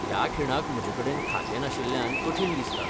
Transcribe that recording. ह्या खिणाक म्हजे कडेन खातें नाशिल्ल्यान कठीण दिसता.